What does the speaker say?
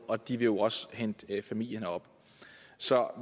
og de vil jo også hente familien herop så